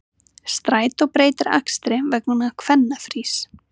Strætó breytir akstri vegna kvennafrís